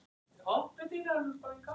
Honum þykir vænt um mig.